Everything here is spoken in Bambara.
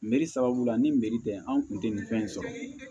sababu la ni meri tɛ an kun tɛ nin fɛn in sɔrɔ